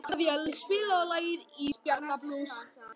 Oktavía, spilaðu lagið „Ísbjarnarblús“.